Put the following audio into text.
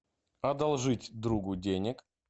одолжить другу денег